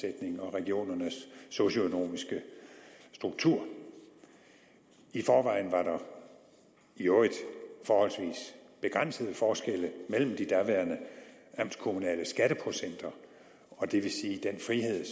regionernes socionomiske struktur i forvejen var der i øvrigt forholdsvis begrænsede forskelle mellem de daværende amtskommunale skatteprocenter og det vil sige den frihed